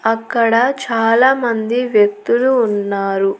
అక్కడ చాలా మంది వ్యక్తులు ఉన్నారు.